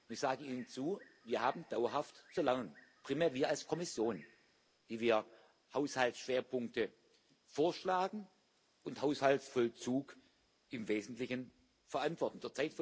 Ich sage Ihnen zu Wir haben dauerhaft zu lernen primär wir als Kommission, die wir Haushaltsschwerpunkte vorschlagen und Haushaltsvollzug im Wesentlichen verantworten.